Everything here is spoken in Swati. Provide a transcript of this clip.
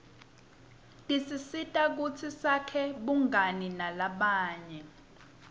tisisita kutsi sakhe bungani nalabanye